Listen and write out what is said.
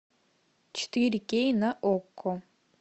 четыре кей на окко